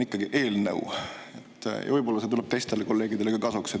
Võib-olla see teadmine tuleb teistele kolleegidele ka kasuks.